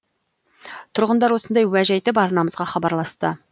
тұрғындар осындай уәж айтып арнамызға хабарласты